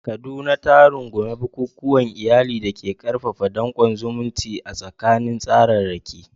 Kaduna ta rungumi bukukuwan iyali da ke ƙarfafa danƙon zumunci a tsakanin tsararraki.